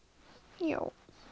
já